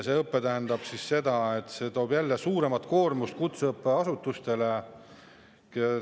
See tähendab seda, et see toob jälle kaasa suurema koormuse kutseõppeasutustele.